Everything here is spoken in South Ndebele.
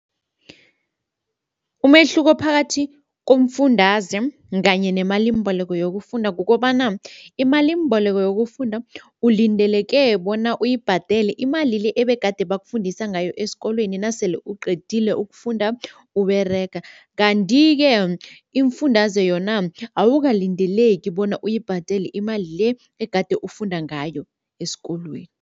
Umehluko phakathi komfundaze kanye nemalimbeleko yokufunda kukobana imalimboleko yokufunda ulindeleke bona uyibhadele imali le ebegade bakufundisa ngayo esikolweni nasele uqedile ukufunda Uberega kanti-ke imifundaze yona awukalindeleki bona uyibhadele imali le egade ufunda ngayo esikolweni.